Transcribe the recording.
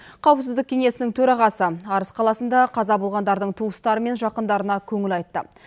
қауіпсіздік кеңесінің төрағасы арыс қаласында қаза болғандардың туыстары мен жақындарына көңіл айтты